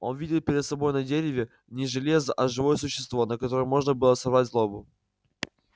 он видел перед собой на дереве не железо а живое существо на котором можно было сорвать злобу